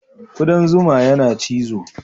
Ƙudan zuma yana cizo.